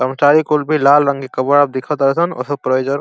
कर्मचारी कुल भी लाल रंग के कबा दिख तार सन। --